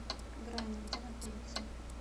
грани где находится